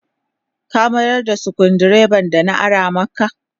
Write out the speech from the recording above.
Ka miyar da sukuru dreban da na ara makp